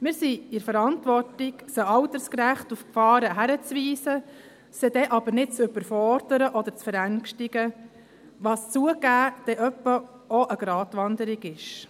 Wir sind in der Verantwortung, sie altersgerecht auf die Gefahren hinzuweisen, sie dann aber nicht zu überfordern oder zu verängstigen, was, zugegeben, manchmal auch eine Gratwanderung ist.